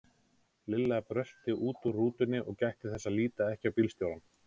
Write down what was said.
Lilla brölti út úr rútunni og gætti þess að líta ekki á bílstjórann.